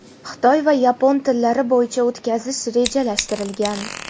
xitoy va yapon tillari bo‘yicha o‘tkazish rejalashtirilgan.